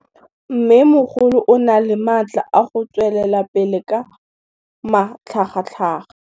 Mmêmogolo o na le matla a go tswelela pele ka matlhagatlhaga.